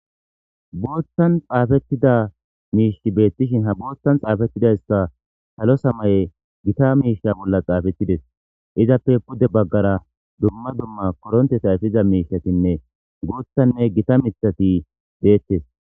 Boththan xafetida mishshi beetteshin ha boththan xafetidayisa salo samaye gita mishsha bola xafetides izappe pude bagara dumma dumma koronteta efiza mishatinne guththanne gita miththati dettes